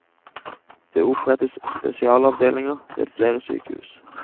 Det opprettes spesialavdelinger ved flere sykehus.